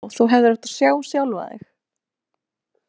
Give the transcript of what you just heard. Vá, þú hefðir átt að sjá sjálfan þig.